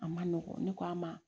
A ma nɔgɔn ne k'a ma